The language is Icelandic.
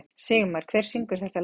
Sigmar, hver syngur þetta lag?